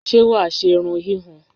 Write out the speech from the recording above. Sé wà á ṣe irun híhun?